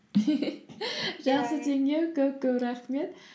жақсы теңеу көп көп рахмет